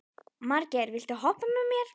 Margeir, viltu hoppa með mér?